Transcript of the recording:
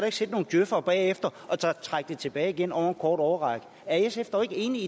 ikke sidde nogen djøfere bagefter og trække det tilbage igen over en kort årrække er sf dog ikke enig